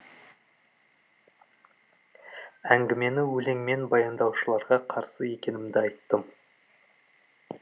әңгімені өлеңмен баяндаушыларға қарсы екенімді айттым